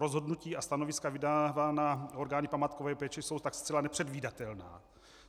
Rozhodnutí a stanoviska vydávaná orgány památkové péče jsou tak zcela nepředvídatelná.